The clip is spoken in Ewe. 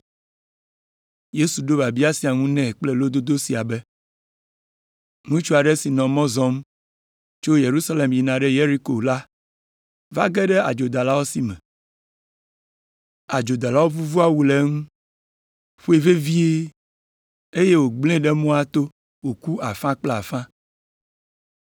Yesu ɖo biabia sia ŋu nɛ kple lododo sia be, “Ŋutsu aɖe si nɔ mɔ zɔm tso Yerusalem yina ɖe Yeriko la va ge ɖe adzodalawo si me. Adzodalawo vuvu awu le eŋu, ƒoe vevie, eye wògblẽe ɖe mɔa to wòku afã kple afã.